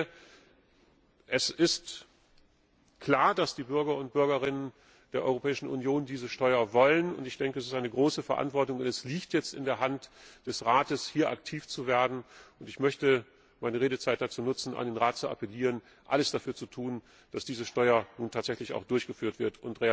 Ich denke, es ist klar, dass die Bürger und Bürgerinnen der Europäischen Union diese Steuer wollen, und ich denke, dass es eine große Verantwortung ist. Es liegt jetzt in der Hand des Rates, hier aktiv zu werden, und ich möchte meine Redezeit dazu nutzen, an den Rat zu appellieren, alles dafür zu tun, dass diese Steuer nun tatsächlich auch durchgeführt wird